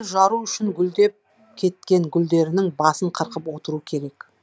гүл жару үшін гүлдеп кеткен гүлдерінің басын қырқып отыру керек